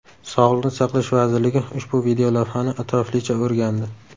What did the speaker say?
Sog‘liqni saqlash vazirligi ushbu videolavhani atroflicha o‘rgandi.